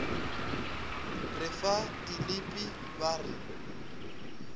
re fa dilipi ba re